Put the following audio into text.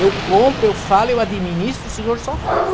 Eu compro, eu falo, eu administro, o senhor só faz.